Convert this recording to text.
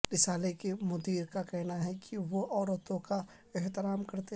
رسالے کے مدیر کا کہنا ہے کہ وہ عورتوں کا احترام کرتے ہیں